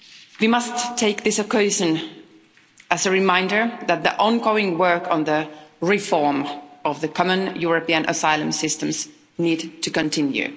We must see this as a reminder that the ongoing work on the reform of the common European asylum systems needs to continue.